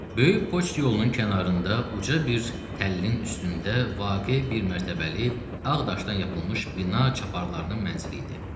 Böyük poçt yolunun kənarında uca bir təllinin üstündə vaqe bir mərtəbəli, ağ daşdan yapılmış bina çaparxananın mənzili idi.